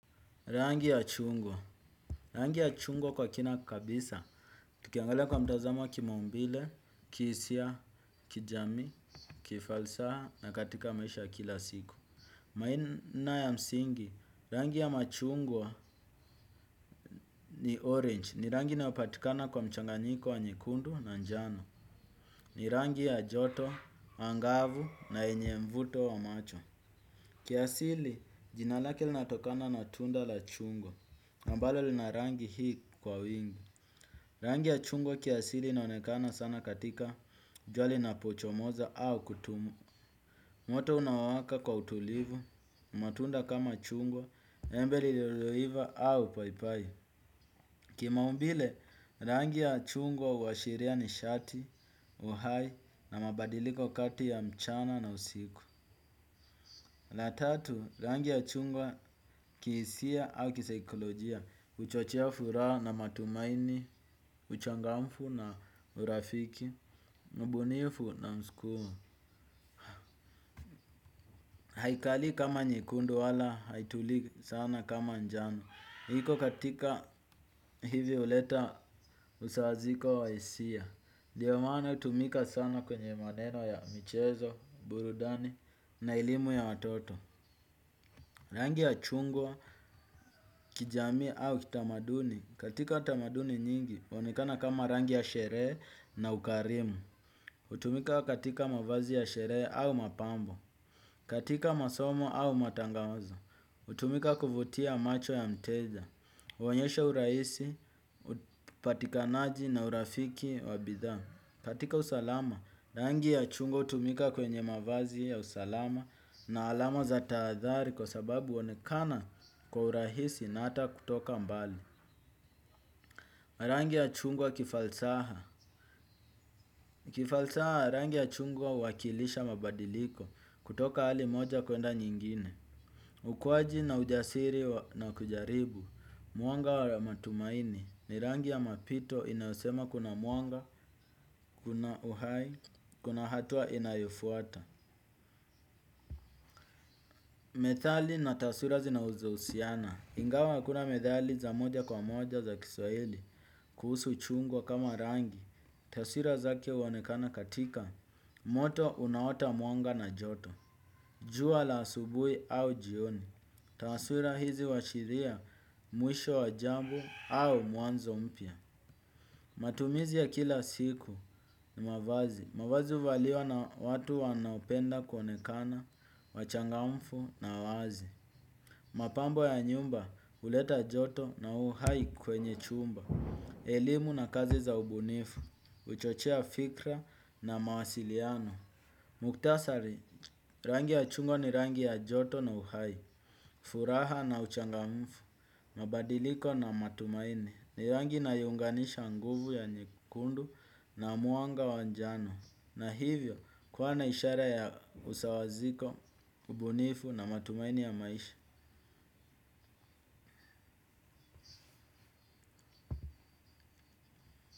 Rangi ya chungwa Rangi ya chungwa kwa kina kabisa, tukiangalia kwa mtazamo wa kimaumbile, kihisia, kijamii, kifalsaha na katika maisha ya kila siku. Maina ya msingi, rangi ya machungwa ni orange ni rangi inayopatikana kwa mchanganiko wa nyekundu na njano. Ni rangi ya joto, angavu na yenye mvuto wa macho. Kiasili jina lake linatokana na tunda la chungwa ambalo lina rangi hii kwa wingi. Rangi ya chungwa kiasili inaonekana sana katika jua linapochomoza au kutua. Moto unawaka kwa utulivu, matunda kama chungwa, embe lililoiva au paipai. Kimaumbile, rangi ya chungwa huashiria nishati, uhai na mabadiliko kati ya mchana na usiku. La tatu, rangi ya chungwa kihisia au kisaikolojia, huchochea furaha na matumaini, uchangamfu na urafiki, mbunifu na mskumo. Haikalii kama nyekundu wala haitulii sana kama njano. Iko katika hivyo huleta usawaziko wa hisia. Ndiyo maana hutumika sana kwenye maneno ya michezo, burudani na elimu ya watoto. Rangi ya chungwa kijami au kitamaduni. Katika tamaduni nyingi huonekana kama rangi ya sherehe na ukarimu. Hutumika katika mavazi ya sherehe au mapambo. Katika masomo au matangazo. Hutumika kuvutia macho ya mteja. Huonyesha urahisi, upatikanaji na urafiki wa bidha. Katika usalama, rangi ya chungwa hutumika kwenye mavazi ya usalama na alama za tahadhari kwa sababu huonekana kwa urahisi na hata kutoka mbali. Rangi ya chungwa kifalsaha. Kifalsaha rangi ya chungwa huwakilisha mabadiliko kutoka hali moja kwenda nyingine. Ukuaji na ujasiri na kujaribu. Mwanga wa matumaini ni rangi ya mapito inayosema kuna mwanga, kuna uhai, kuna hatua inayofuata. Methali na taswira zinaweza husiana. Ingawa hakuna methali za moja kwa moja za kiswahili kuhusu chungwa kama rangi. Taswira zake huonekana katika moto unaota mwanga na joto. Jua la asubuhi au jioni. Taswira hizi huashiria mwisho wa jambo au mwanzo mpya. Matumizi ya kila siku ni mavazi. Mavazi huvaliwa na watu wanaopenda kuonekana wachangamfu na wazi. Mapambo ya nyumba huleta joto na uhai kwenye chumba. Elimu na kazi za ubunifu, huchochea fikra na mawasiliano. Muktasari, rangi ya chungwa ni rangi ya joto na uhai. Furaha na uchangamfu, mabadiliko na matumaini ni rangi inayounganisha nguvu ya nyekundu na mwanga wa njano. Na hivyo, kuwa na ishara ya usawaziko, ubunifu na matumaini ya maisha.